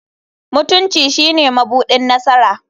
Mutunci shine mabuɗin nasara.